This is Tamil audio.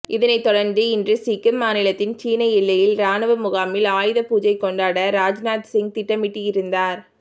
இதனைத் தொடர்ந்து இன்று சிக்கிம் மாநிலத்தில் சீனா எல்லையில் ராணுவ முகாமில் ஆயுத பூஜை கொண்டாட ராஜ்நாத்சிங் திட்டமிட்டிருந்தார்